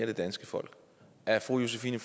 det danske folk er fru josephine